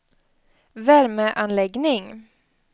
värmeanläggning